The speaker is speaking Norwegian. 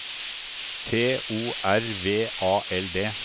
T O R V A L D